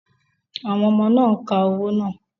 Àwọn ọmọ náà ń ka owó náà.